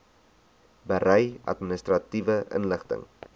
berei administratiewe inligting